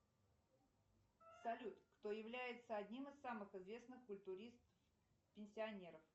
салют кто является одним из самых известных культуристов пенсионеров